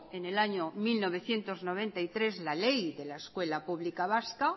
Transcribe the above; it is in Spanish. en el año mil novecientos noventa y tres la ley de la escuela pública vasca